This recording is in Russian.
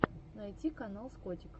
найти канал с котиком